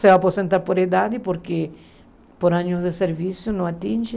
Se aposenta por idade, porque por anos de serviço não atinge.